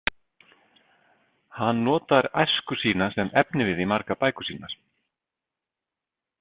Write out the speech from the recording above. Hann notar æsku sína sem efnivið í margar bækur sínar.